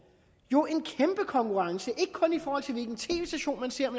jo en kæmpe konkurrence ikke kun i forhold til hvilken tv station man ser